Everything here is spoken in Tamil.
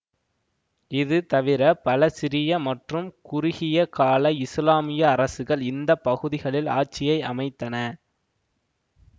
இது தவிர பல சிறிய மற்றும் குறுகிய கால இசுலாமிய அரசுகள் இந்த பகுதிகளில் ஆட்சியை அமைத்தன